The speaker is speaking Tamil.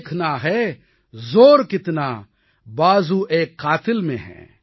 देखना है ज़ोर कितना बाज़ुएकातिल में है